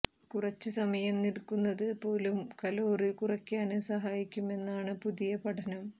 കുറച്ച് സമയം നില്ക്കുന്നത് പോലും കലോറി കുറയ്ക്കാന് സഹായിക്കുമെന്നാണ് പുതിയ പഠനം